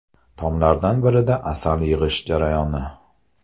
Tomlardan birida asal yig‘ish jarayoni.